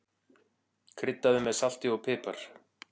Kryddaðu með salti og pipar.